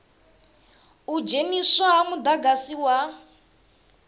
u dzheniswa ha mudagasi wa